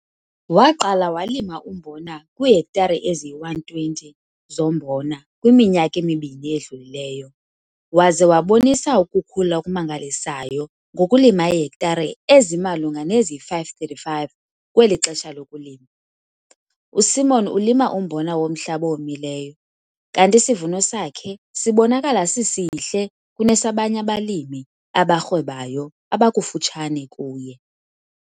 Waqala walima umbona kwiihektare eziyi-120 zombona kwiminyaka emibini edlulileyo, waze wabonisa ukukhula okumangalisayo ngokulima iihektare ezimalunga neziyi-535 kweli xesha lokulima. USimon ulima umbona womhlaba owomileyo kanti isivuno sakhe sibonakala sisihle kunesabanye abalimi abarhwebayo abakufutshane kuye.